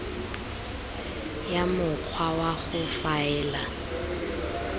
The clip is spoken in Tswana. ya mokgwa wa go faela